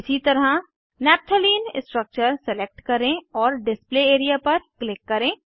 इसी तरह naphthalene structure select करें और डिस्प्ले एरिया पर क्लिक करें